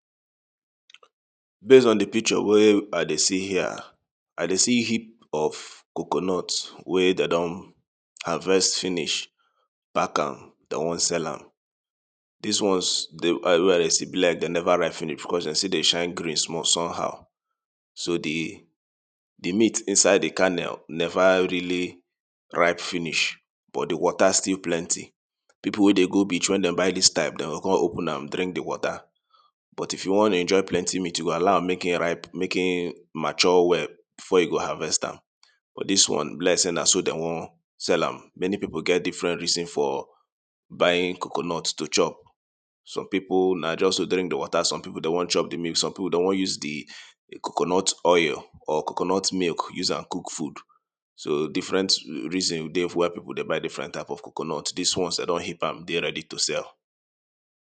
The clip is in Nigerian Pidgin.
Base on di picture wey I dey see here, I dey see hip of coconut wey dey don harvest finish, pack am dey wan sell am. Dis ones wey I dey see e be like dey neva ripe finish becos dey still dey shine green small some how, so di, di meat inside di karnel neva really ripe finish but di water still plenty, pipu wey dey go beach wen dem buy dis type dem go kon open am drink di water but if you wan enjoy plenty meat you go allow make hin ripe, make e mature well before you go harvest am but dis one e be like sey na so dem wan sell am, many pipu get different reasons for buying coconut to chop, some pipu na just to drink di water, some pipu dem wan chop di meat some pipu dem wan use di coconut oil or coconut milk use am cook food. So different reason dey wey pipu dey buy different type of coconut, dis ones dem don hip am dey ready to sell.